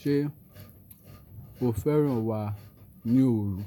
Ṣé o fẹ́ràn wà ní òru?